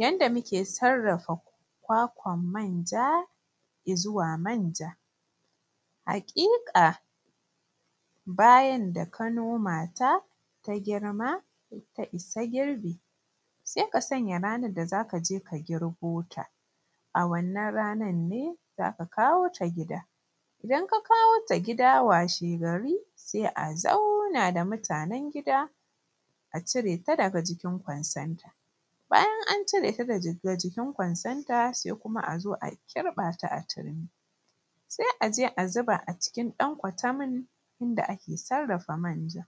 Yanda muke sarrafa kwakwan manja izuwa manja. Haƙiƙa bayan da ka noma ta ta girma ta isa girbi sai ka sanya ranar da zaka je ka girbo ta a wannan ranar ne zaka kawo ta gida. Idan ka kawo ta gida washegari sai a zauna da mutanen gida a cire ta daga jikin kwansanta. Bayan an cire ta daga jikin kwansanta sai kuma a zo a kirɓa ta a turmi sai a je a zuba a cikin ɗan kwatamin inda ake sarrafa manja.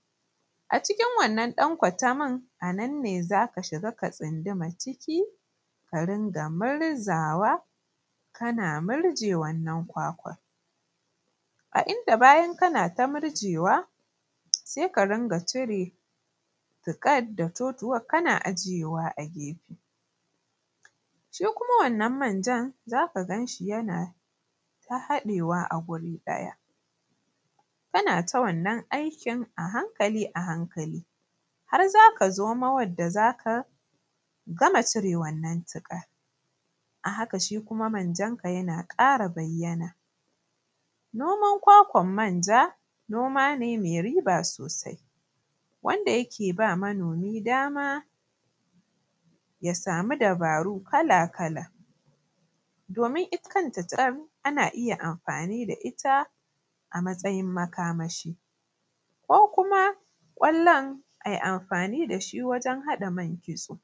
A cikin wannan ɗan kwatamin a nan ne zaka shiga ka tsunduma ciki ka ringa murzawa kana murje wannan kwakwar. A inda bayan kana ta murjewa sai ka ringa cire tuƙar da totuwar kana ajiyewa a gefe. Shi kuma wannan manjan za ka gan shi yana ta haɗewa a guri ɗaya kana ta wannan aikin a hankali a hankali har zaka zomo wadda zaka gama cire wannan tuƙar a haka shi kuma manjar ka tana ƙara bayyana. Nomar kwakwar manja noma ne mai riba sosai, wanda yake ba manomi damaya samu dabaru kala-kala domin ita kanta tuƙar ana iya amfani da ita a matsayin makamashi ko kuma ƙwallon a yi amfani da shi wajen haɗa man kitso.